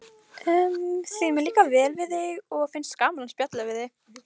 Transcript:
Því mér líkar vel við þig og finnst gaman að spjalla við þig.